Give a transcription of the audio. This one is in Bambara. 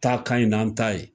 Ta ka ɲi n'an ta ye.